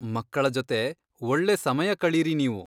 ಮಕ್ಕಳ ಜೊತೆ ಒಳ್ಳೆ ಸಮಯ ಕಳೀರಿ ನೀವು.